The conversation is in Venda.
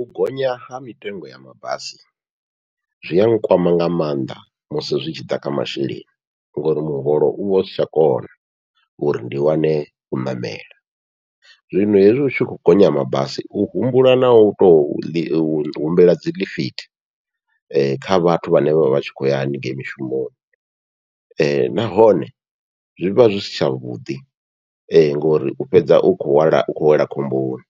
U gonya ha mitengo ya mabasi zwi a nkwama nga maanḓa musi zwi tshi ḓa kha masheleni, ngori muholo uvha usi tsha kona uri ndi wane u ṋamela zwino hezwi hutshi khou gonya mabasi u humbula nau tou ḽi humbela dzi ḽifithi, kha vhathu vhane vha vha tshi khou ya haningei mishumoni, nahone zwivha zwi si tsha vhuḓi ngori u fhedza u kho lwela u khou wela khomboni.